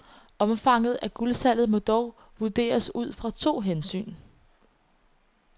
Omfanget af guldsalget må dog vurderes ud fra to hensyn.